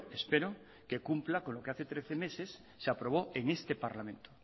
espero que cumpla con lo que hace trece meses se aprobó en este parlamento